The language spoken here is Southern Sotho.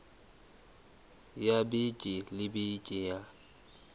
ya beke le beke ya